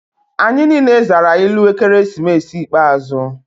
Anyị niile zara ilu ekeresimesi ikpeazụ.